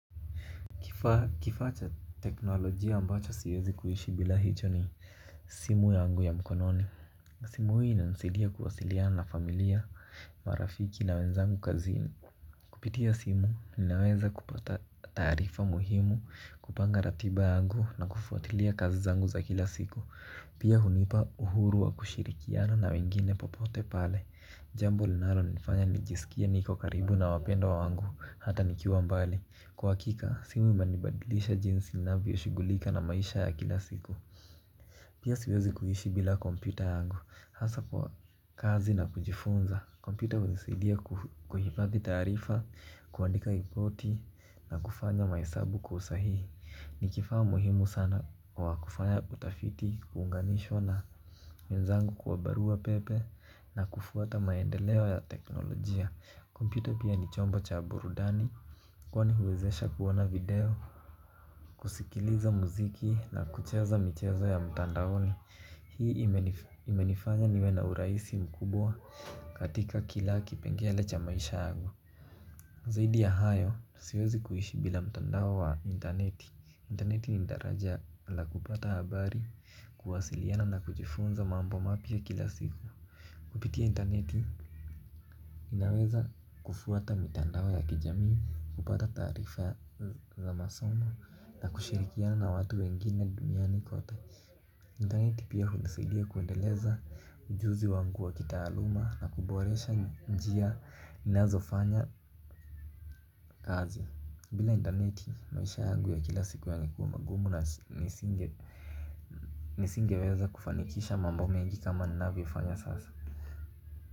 Kifaa cha teknolojia ambacho siwezi kuishi bila hicho ni simu yangu ya mkononi. Simu hii inanisaidia kuwasiliana na familia, marafiki na wenzangu kazini. Kupitia simu, ninaweza kupata taarifa muhimu, kupanga ratiba yangu na kufuatilia kazi zangu za kila siku. Pia hunipa uhuru wa kushirikiana na wengine popote pale. Jambo linalonifanya nijisikie niko karibu na wapendwa wangu, hata nikiwa mbali. Kwa uhakika, simu imenibadilisha jinsi ninavyoshughulika na maisha ya kila siku. Pia siwezi kuishi bila kompyuta yangu, hasa kwa kazi na kujifunza. Kompyuta hunisaidia kuhifadhi taarifa, kuandika ripoti na kufanya mahesabu kwa usahihi. Ni kifaa muhimu sana wa kufanya utafiti, kuunganishwa na wenzangu kwa barua pepe na kufuata maendeleo ya teknolojia. Kompyuta pia ni chombo cha burudani. Kwani huwezesha kuona video, kusikiliza muziki na kucheza michezo ya mtandaoni. Hii imenifanya niwe na urahisi mkubwa katika kila kipengele cha maisha yangu. Zaidi ya hayo, siwezi kuishi bila mtandao wa intaneti. Interneti ni daraja la kupata habari, kuwasiliana na kujifunza mambo mapya kila siku. Kupitia intaneti, inaweza kufuata mitandao ya kijamii, kupata taarifa za masomo, na kushirikiana na watu wengine duniani kote. Intaneti pia hunisaidia kuendeleza ujuzi wangu wa kitaaluma, na kuboresha njia ninazofanya kazi. Bila intaneti, maisha yangu ya kila siku yangekuwa magumu na nisingeweza kufanikisha mambo mengi kama ninavyofanya sasa.